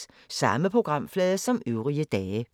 Samme programflade som øvrige dage